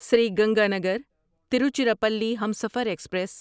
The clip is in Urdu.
سری گنگانگر تیروچیراپلی ہمسفر ایکسپریس